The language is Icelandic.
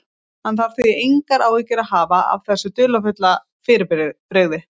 Hann þarf því engar áhyggjur að hafa af þessu dularfulla fyrirbrigði.